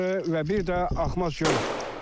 Yol kənarı və bir də Axmaz gölü.